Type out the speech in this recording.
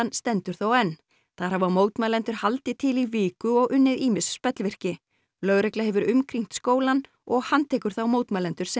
stendur þó enn þar hafa mótmælendur haldið til í viku og unnið ýmis spellvirki lögregla hefur umkringt skólann og handtekur þá mótmælendur sem